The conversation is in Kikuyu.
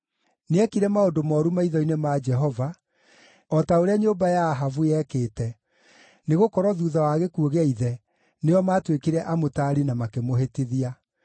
Nĩekire maũndũ mooru maitho-inĩ ma Jehova, o ta ũrĩa nyũmba ya Ahabu yekĩte, nĩgũkorwo thuutha wa gĩkuũ gĩa ithe, nĩo maatuĩkire amũtaari na makĩmũhĩtithia.